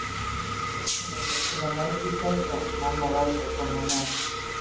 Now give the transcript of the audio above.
Hún er neydd til að mæta í kvöld og mamma verður að koma með.